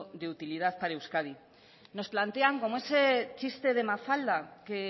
de utilizad para euskadi nos plantean como ese chiste de mafalda que